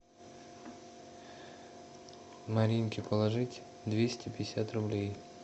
маринке положить двести пятьдесят рублей